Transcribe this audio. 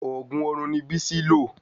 Òògùn orun ni Bisi lo